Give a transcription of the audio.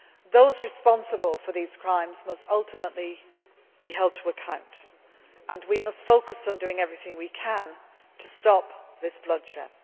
Those responsible for these crimes must ultimately be held to account and we must focus on doing everything we can to stop this bloodshed.